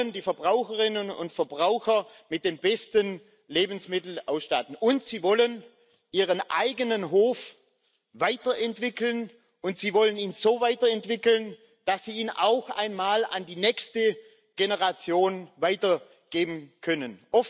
Sie wollen die Verbraucherinnen und Verbraucher mit den besten Lebensmitteln ausstatten, und sie wollen ihren eigenen Hof weiterentwickeln und sie wollen ihn so weiterentwickeln, dass sie ihn auch einmal an die nächste Generation weitergeben können.